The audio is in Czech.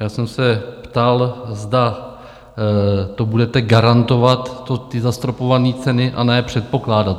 Já jsem se ptal, zda to budete garantovat, ty zastropované ceny, a ne předpokládat.